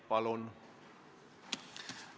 Palun!